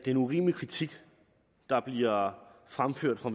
en urimelig kritik der bliver fremført fra